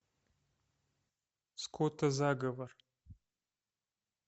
скотозаговор